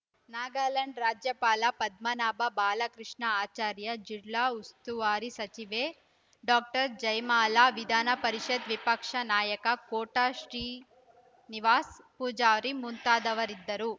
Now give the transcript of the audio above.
ನಾಗಾಲ್ಯಾಂಡ್‌ ರಾಜ್ಯಪಾಲ ಪದ್ಮನಾಭ ಬಾಲಕೃಷ್ಣ ಆಚಾರ್ಯ ಜಿಲ್ಲಾ ಉಸ್ತುವಾರಿ ಸಚಿವೆ ಡಾಕ್ಟರ್ ಜಯಮಾಲಾ ವಿಧಾನ ಪರಿಷತ್‌ ವಿಪಕ್ಷ ನಾಯಕ ಕೋಟ ಶ್ರೀ ನಿವಾಸ ಪೂಜಾರಿ ಮುಂತಾದವರಿದ್ದರು